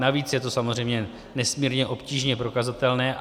Navíc je to samozřejmě nesmírně obtížně prokazatelné.